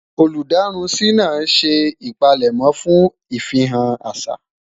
olú darunsi nà ṣé ipalemo fún ifihan àṣà